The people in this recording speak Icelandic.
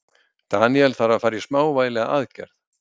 Daniel þarf að fara í smávægilega aðgerð.